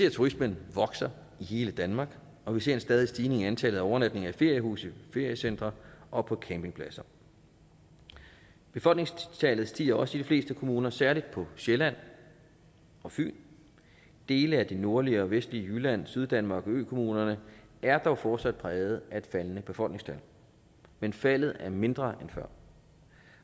at turismen vokser i hele danmark og vi ser en stadig stigning i antallet af overnatninger i feriehuse og feriecentre og på campingpladser befolkningstallet stiger også i de fleste kommuner særlig på sjælland og fyn dele af det nordlige og vestlige jylland syddanmark og økommunerne er dog fortsat præget af et faldende befolkningstal men faldet er mindre end før